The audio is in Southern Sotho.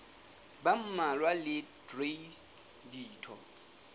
ba mmalwa le traste ditho